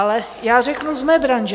Ale já řeknu z mé branže.